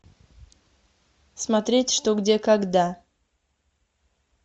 смотреть что где когда